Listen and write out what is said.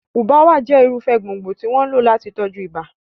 Ubwa jẹ́ irúfẹ́ gbòǹgbò tí wọ́n ń lò láti tọ́jú ibà.